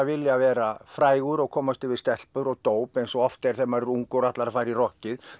vilja vera frægur og komast yfir stelpur og dóp eins og oft er þegar maður er ungur og ætlar að fara í rokkið